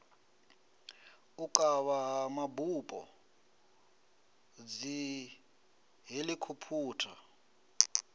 u kavha ha mabupo dzihelikhophutha